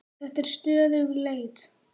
Þetta er stöðug leit!